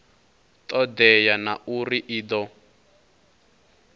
todea na uri i do